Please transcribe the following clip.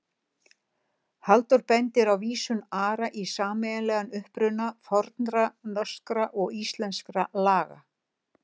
Halldór bendir á vísun Ara í sameiginlegan uppruna fornra norskra og íslenskra laga.